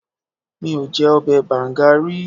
Mi ò jẹ ọbẹ̀ bàǹga rí.